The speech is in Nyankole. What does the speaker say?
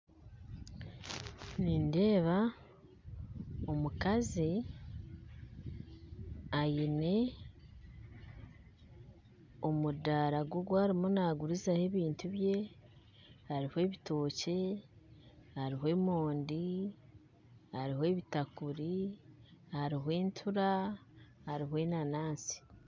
Nindeeba omukazi aine omudara gwe ogu arimu nagurizaho ebintu bye hariho ebitookye hariho emondi hariho ebitakuri hariho entura hariho enanaansi